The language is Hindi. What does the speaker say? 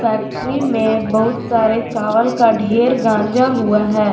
फैक्ट्री में बहुत सारे चावल का ढेर गांजा हुआ है।